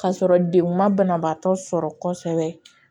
K'a sɔrɔ denw ma banabaatɔ sɔrɔ kosɛbɛ